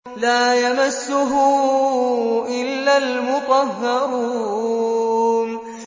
لَّا يَمَسُّهُ إِلَّا الْمُطَهَّرُونَ